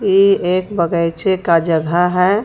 ई एक का जगाह है.